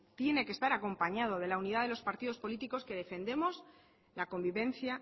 tiene que estar acompañado de la unidad de los partidos políticos que defendemos la convivencia